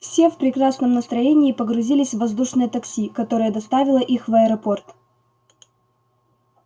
все в прекрасном настроении погрузились в воздушное такси которое доставило их в аэропорт